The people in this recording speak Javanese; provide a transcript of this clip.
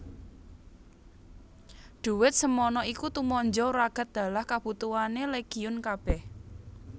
Dhuwit semana iku tumanja wragad dalah kabutuhané Legiun kabèh